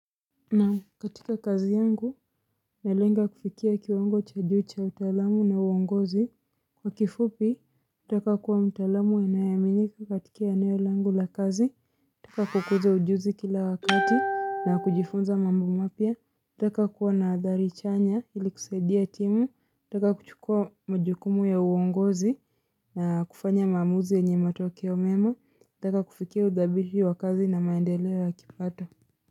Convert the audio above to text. Na katika kazi yangu, nalenga kufikia kiwango cha juu cha utaalamu na uongozi. Kwa kifupi, nataka kuwa mtaalamu anayeaminika katika eneo langu la kazi. Kwa kukuza ujuzi kila wakati na kujifunza mambo mapya. Nataka kuwa na athari chanya ili kusaidia timu. Nataka kuchukua majukumu ya uongozi na kufanya maamuzi yenye matokeo mema. Nataka kufikia udhabiri wa kazi na maendeleo ya kipato.